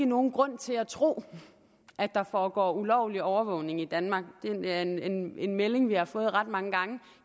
nogen grund til at tro at der foregår ulovlig overvågning i danmark det er en melding vi melding vi har fået ret mange gange